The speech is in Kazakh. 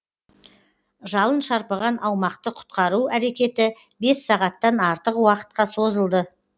жалын шарпыған аумақты құтқару әрекеті бес сағаттан артық уақытқа созылды